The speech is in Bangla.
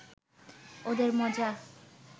ওদের মজা